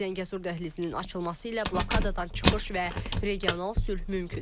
Zəngəzur dəhlizinin açılması ilə blokadadan çıxış və regional sülh mümkündür.